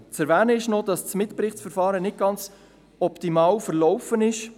Zu erwähnen ist noch, dass das Mitberichtsverfahren nicht ganz optimal abgelaufen ist.